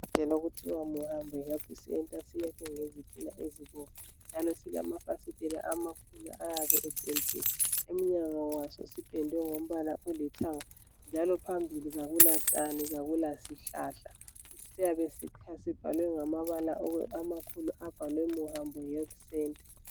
Isibhedlela okuthiwa Muhambo Health Center siyakhwe ngezitina ezibomvu njalo silafasitela amakhulu ayabe epediwe emnyango waso sipedwe ngombala olithanga njalo phambili akulatshani kakulasihlahla siyabe sibhalwe ngamabala amakhulu abhalwe Muhambo Health Center.